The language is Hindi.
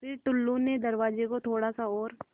फ़िर टुल्लु ने दरवाज़े को थोड़ा सा और